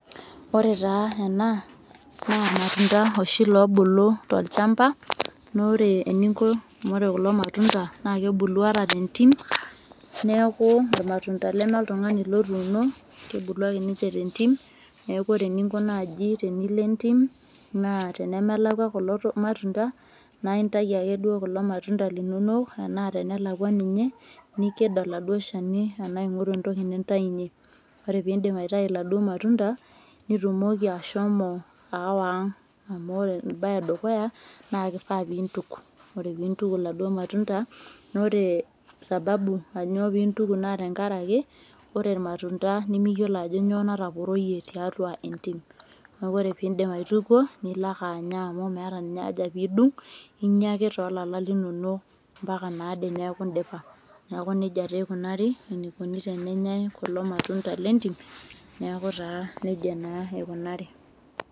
Ore taa ena naa irmatunda oobulu tolchamba naa ore kulo matunda naakebulu tentim neme oltung'ani lotuuno kebulu ake ninche tentim naa ore eninko tentim tenemelakwa kulo matunda naa intayu ake kulo matunda linonok naa tenelakwa ninye ning'oru entoki nintaunyie ore peindip aitayu iladuo matunda nitumoki aawa ang amu ore embaye edukuya naaifaa peintuku naa ore sababu anyoo peintuku tenkaraki ore irmatunda nimiyiolo ajo kanyioo nataporoyie tentim naa ore peintuku nemeta haja piidung inyia eke toolala linonok ombaka ade neeku indipa neeku nejia naa eikunari tenenyai kulo matunda lentim neeku nejei naa eikunari.